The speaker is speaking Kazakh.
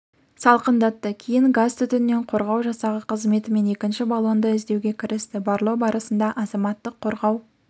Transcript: салқындатты кейін газ түтіннен қорғау жасағы қызметімен екінші баллонды іздеуге кірісті барлау барысында азаматтық қорғау